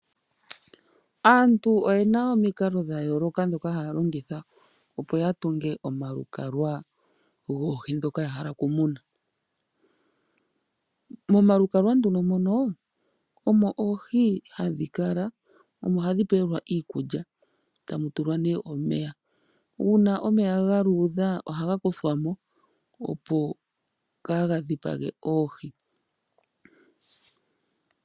Aantu oyena omikalo dhayooloka dhoka haya longitha opo ya tunge omalukalwa goohi dhoka yahala okumuna. Momalukalwa nduno mono omo oohi hadhi kala omo hadhi pelwa iikulya tamu tulwa nee omeya, uuna omeya ga luudha ohaga kuthwa mo opo ka gadhipage oohi.